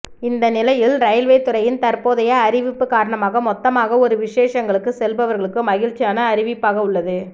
இந்த நிலையில் ரயில்வே துறையின் தற்போதைய அறிவிப்பு காரணமாக மொத்தமாக ஒரு விசேஷங்களுக்கு செல்பவர்களுக்கு மகிழ்ச்சியான அறிவிப்பாக உள்ளது